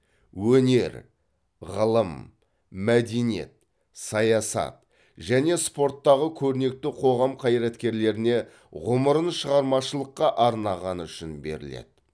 өнер ғылым мәдениет саясат және спорттағы көрнекті қоғам қайраткерлеріне ғұмырын шығармашылыққа арнағаны үшін беріледі